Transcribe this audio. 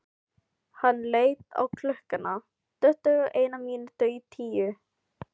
Hann leit á klukkuna: tuttugu og eina mínútu í tíu.